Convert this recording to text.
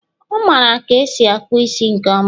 Ọ mara ka esi akpụ isi nke ọma